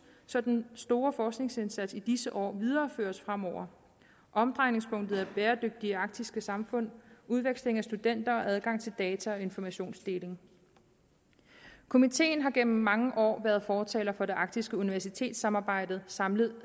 så den store forskningsindsats i disse år videreføres fremover omdrejningspunktet er bæredygtige arktiske samfund udveksling af studenter og adgang til data og informationsdeling komiteen har gennem mange år været fortaler for det arktiske universitetssamarbejde samlet